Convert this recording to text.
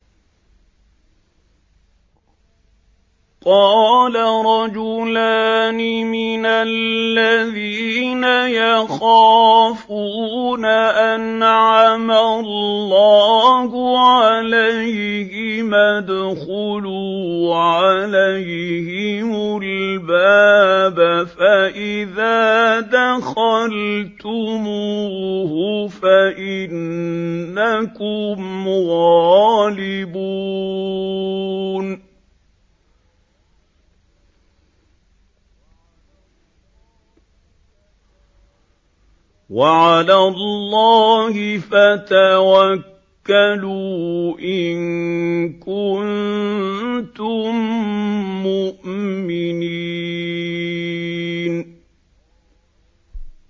قَالَ رَجُلَانِ مِنَ الَّذِينَ يَخَافُونَ أَنْعَمَ اللَّهُ عَلَيْهِمَا ادْخُلُوا عَلَيْهِمُ الْبَابَ فَإِذَا دَخَلْتُمُوهُ فَإِنَّكُمْ غَالِبُونَ ۚ وَعَلَى اللَّهِ فَتَوَكَّلُوا إِن كُنتُم مُّؤْمِنِينَ